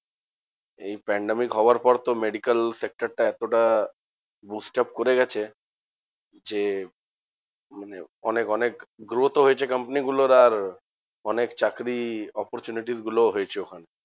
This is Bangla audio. এই pandemic হওয়ার পর তো medical sector টা এতটা boost up করে গেছে যে, মানে অনেক অনেক growth ও হয়েছে কোম্পানিগুলোর আর অনেক চাকরির opportunity গুলোও হয়েছে ওখানে।